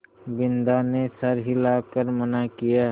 बिन्दा ने सर हिला कर मना किया